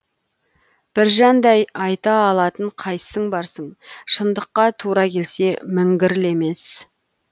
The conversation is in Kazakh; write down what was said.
біржандай айта алатын қайсың барсың шындыққа тура келсе міңгірлемес